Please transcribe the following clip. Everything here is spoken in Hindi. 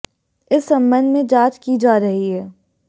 इस सम्बन्ध में जांच की जा रही है